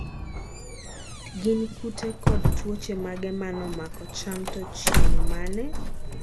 gin kute kod tuoche mage manomako cham to chieng' mane?